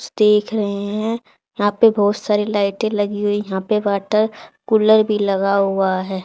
रहे हैं यहां पे बहुत सारी लाइटें लगी हुई यहां पे वॉटर कूलर भी लगा हुआ है।